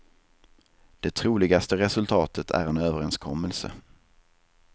Det troligaste resultatet är en överenskommelse.